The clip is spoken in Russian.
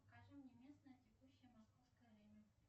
покажи мне местное текущее московское время